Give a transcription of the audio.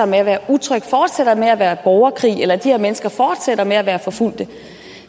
med at være utrygt fortsætter med at være borgerkrig eller at de her mennesker fortsætter med at være forfulgte